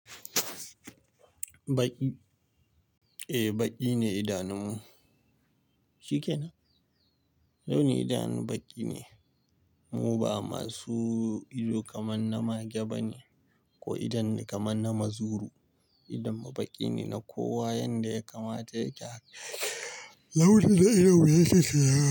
Baƙi? Eh, baƙi ne idanunmu. Shi ke nan. Launi idanun baƙi ne. Mu ba masu ido kamar na mage ba ne ko idonni kamar na mazuru. Idonmu baƙi ne na kowa yanda ya kamata yake. Launin da ido mu yake siyana.